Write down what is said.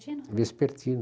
vespertino.